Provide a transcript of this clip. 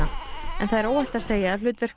en það er óhætt að segja að hlutverk